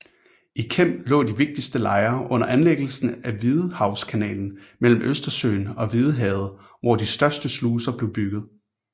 I Kem lå de vigtigste lejre under anlæggelsen af Hvidehavskanalen mellem Østersøen og Hvidehavet hvor de største sluser blev bygget